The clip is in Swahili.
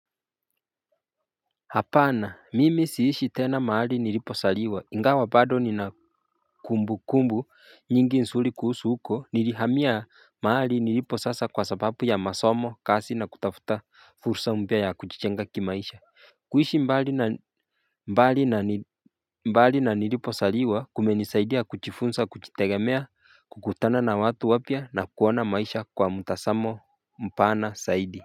Hapana mimi siishi tena mahali nilipozaliwa ingawa bado ni nakumbukumbu nyingi nzuri kuhusu huko nilihamia mahali nilipo sasa kwa sababu ya masomo kazi na kutafuta fursa mpya ya kujijenga kimaisha kuishi mbali na nilipozaliwa kumenisaidia kujfunza kujitegemea kukutana na watu wapya na kuona maisha kwa mtazamo mpana zaidi.